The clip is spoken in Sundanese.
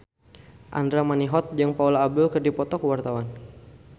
Andra Manihot jeung Paula Abdul keur dipoto ku wartawan